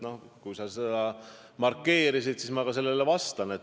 Noh, kui sa seda markeerisid, siis ma ka vastan.